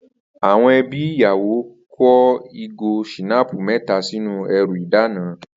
Àwo̩n e̩bí iyawo ko̩ ìgò s̩ìnáàpù mé̩ta sínú e̩rù ìdána